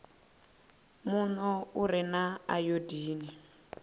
muno u re na ayodini